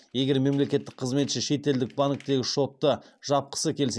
егер мемлекеттік қызметші шетелдік банктегі шотты жапқысы келсе